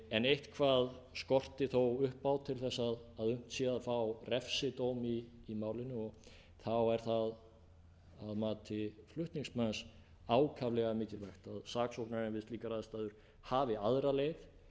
en eitthvað skorti þó upp á til að unnt sé að fá refsidóm í málinu og þá er það að mati flutningsmanns ákaflega mikilvægt að saksóknarinn við slíkar aðstæður hafi aðra leið